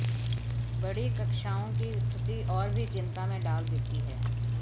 बड़ी कक्षाओं की स्थिति और भी चिंता में डाल देती है